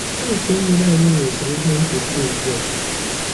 Tankị mmiri anyị nweziri ihe mkpuchi ugbua.